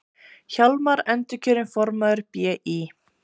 Hjálmar endurkjörinn formaður BÍ